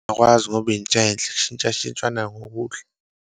Akwazi ngoba yinto enhle, kushintshashintshwa ngokudla.